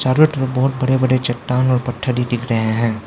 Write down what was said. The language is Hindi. चारों तरफ बहोत बड़े बड़े चट्टान और पत्थर हि दिख रहे हैं।